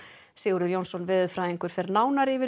Sigurður Jónsson veðurfræðingur fer nánar yfir